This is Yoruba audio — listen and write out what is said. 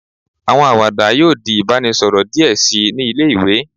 Awọn awada yoo di ibaraẹnisọrọ diẹ sii ni ile-iwe